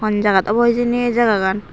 hon jagat obo hejani aye jagagan.